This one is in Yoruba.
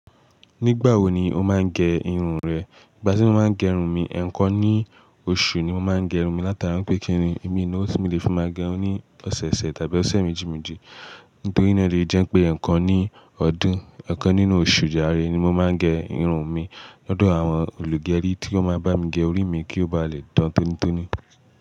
Nígbà wo ni o máa ń gẹ irun rẹ? Ìgbà tí mo máa ń gẹ irun mi, ẹ̀kan ní oṣù ni mo máa ń gẹ irun mi látara pé kí nìí, mi ni owó tí mo lè fi máa gẹ irun ní ọ̀sọ̀ọ̀sẹ̀ tàbí ọ̀sẹ̀ méjì méjì. Nítorí ná ni ó jẹ́ pé ẹ̀kan ní ọdún, ẹ̀kan nínú oṣù jare ni mo máa ń gẹ irun mi. Lọ́dọ̀ àwọn olùgẹrí tí ó máa ń bá mi gẹ orí mi kí ó bá lè dán tónítóní.